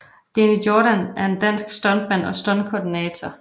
Deni Jordan er en dansk stuntmand og stuntkoordinator